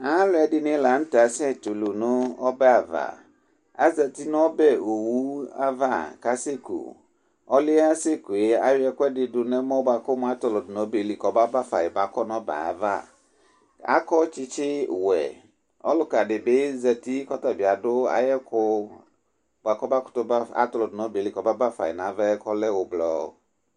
Aluɛdini lanutɛ asɛ tulu nu ɔbɛtu azati nu ɔbɛ owuava ɔliɛ aseku ayɔ ɛkuɛdi du nɛmɔ kumu atɔlɔdu nu obɛli mɛ kɔma bafa nu ɔbɛ ava adu tsitsi wɛ ɔlukadibi zati ku tabi adu ayɛku buaku atɔlɔ du nu obeli kɔma bafa ava lɛ ublɔ